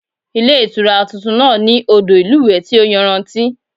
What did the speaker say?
Ilé Ìtura tuntun náà ní odò ìlúwèé tí ó yanrantí